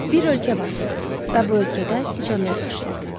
Bir ölkə vardı və bu ölkədə siçanlar yaşayırdı.